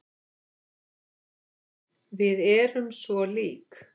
Við erum svo lík.